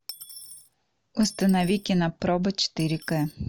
установи кинопробы четыре кэ